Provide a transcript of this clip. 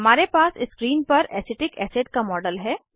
हमारे पास स्क्रीन पर एसिटिक एसिड का मॉडल है